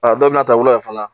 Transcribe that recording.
A dɔw bɛn'a ta wula la fana